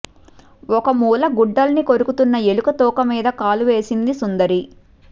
ఒక మూల గుడ్డల్ని కొరుకుతున్న ఎలుక తోకమీద కాలు వేసింది సుందరి